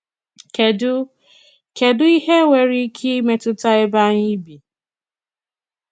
Kèdù Kèdù ìhé nwere ìkè ìmétùtà èbé ànyị̀ bì?